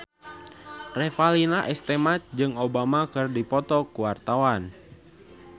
Revalina S. Temat jeung Obama keur dipoto ku wartawan